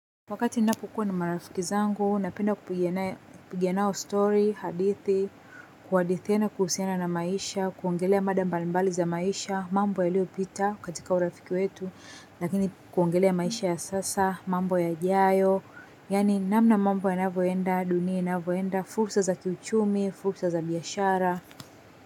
Wakati ninapo kuwaa na marafiki zangu, napenda kupiga nao story, hadithi, kuhadithiana kuhusiana na maisha kuongelea mada mbali mbali za maisha mambo yaliopita katika urafiki wetu lakini kuongelea maisha ya sasa mambo yajayo yani namna mambo yanavyoenda dunia inavyoenda fursa za kiuchumi fursa za biashara.